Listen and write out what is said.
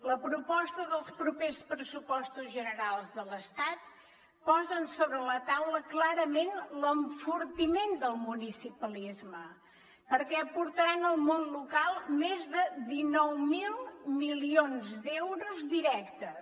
la proposta dels propers pressupostos generals de l’estat posa sobre la taula clarament l’enfortiment del municipalisme perquè aportaran al món local més de dinou mil milions d’euros directes